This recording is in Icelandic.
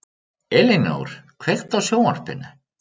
Elínór, kveiktu á sjónvarpinu.